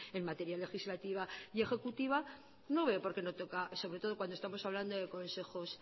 en materia legislativa y ejecutiva no veo por qué no toca sobre todo cuando estamos hablando de consejos